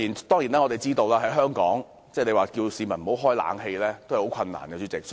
當然，在香港，要市民不開冷氣是很困難的。